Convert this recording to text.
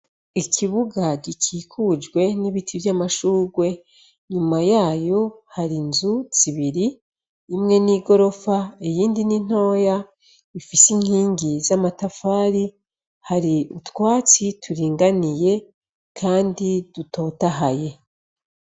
Ikibuga gikikujwe n'ibiti vy'amashurwe nyuma yayo hari inzu zibiri imwe n'i gorofa iyindi n'intoya ifise inkingi z'amatafari hari utwatsi turinganiye, kandi dutotahaye.